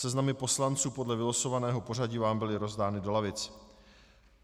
Seznamy poslanců podle vylosovaného pořadí vám byly rozdány do lavic.